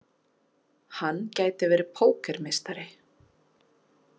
Hann gæti verið pókermeistari.